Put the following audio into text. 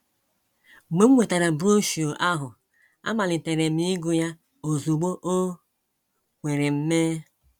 “ Mgbe m nwetara broshuọ ahụ, amalitere m ịgụ ya ozugbo o kwere m mee.